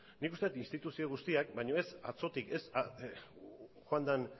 nik uste dut instituzio guztiak baina ez atzotik ez joan den